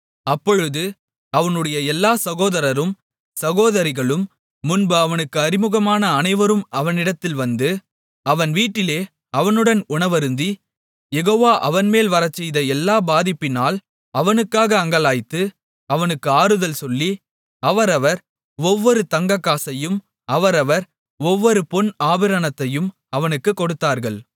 அப்பொழுது அவனுடைய எல்லாச் சகோதரரும் சகோதரிகளும் முன்பு அவனுக்கு அறிமுகமான அனைவரும் அவனிடத்தில் வந்து அவன் வீட்டிலே அவனுடன் உணவருந்தி யெகோவா அவன்மேல் வரச்செய்த எல்லா பாதிப்பினால் அவனுக்காக அங்கலாய்த்து அவனுக்கு ஆறுதல் சொல்லி அவரவர் ஒவ்வொரு தங்கக்காசையும் அவரவர் ஒவ்வொரு பொன் ஆபரணத்தையும் அவனுக்குக் கொடுத்தார்கள்